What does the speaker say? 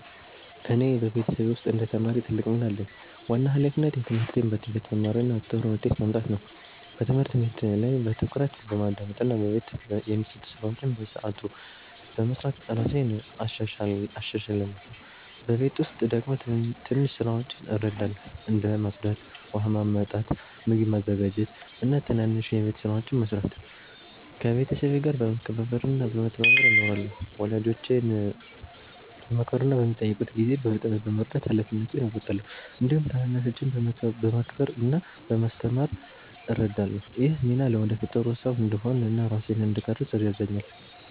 እኔ በቤተሰቤ ውስጥ እንደ ተማሪ ትልቅ ሚና አለኝ። ዋና ሃላፊነቴ ትምህርቴን በትጋት መማር እና ጥሩ ውጤት ማምጣት ነው። በትምህርት ቤት ላይ በትኩረት በማዳመጥ እና በቤት የሚሰጡ ስራዎችን በሰዓቱ በመስራት እራሴን እሻሻላለሁ። በቤት ውስጥ ደግሞ ትንሽ ስራዎችን እረዳለሁ፣ እንደ ማጽዳት፣ ውሃ ማመጣት፣ ምግብ ማዘጋጀት እና ትናንሽ የቤት ስራዎችን መስራት። ከቤተሰቤ ጋር በመከባበር እና በመተባበር እኖራለሁ። ወላጆቼን በማክበር እና በሚጠይቁት ጊዜ በፍጥነት በመርዳት ሃላፊነቴን እወጣለሁ። እንዲሁም ታናናሾችን በመከባበር እና በማስተማር እረዳለሁ። ይህ ሚና ለወደፊት ጥሩ ሰው እንድሆን እና ራሴን እንድቀርፅ ይረዳኛል።